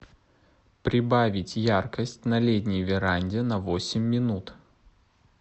прибавить яркость на летней веранде на восемь минут